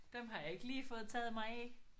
Dem har jeg ikke lige fået taget mig af